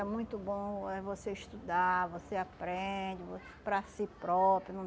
É muito bom eh você estudar, você aprende vo para si próprio, não